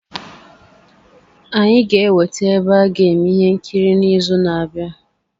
Anyị ga-enweta ebe a ga-eme ihe nkiri n'izu na-abịa.